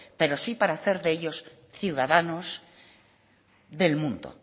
pero sí para hacer de ellos ciudadanos del mundo